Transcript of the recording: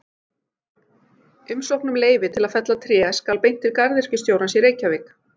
Umsókn um leyfi til að fella tré skal beint til garðyrkjustjórans í Reykjavík.